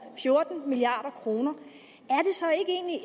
fjorten milliard kroner